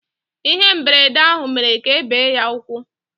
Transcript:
Ihe mberede ahụ mere ka ebe ya ụkwụ